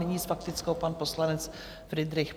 Nyní s faktickou pan poslanec Fridrich.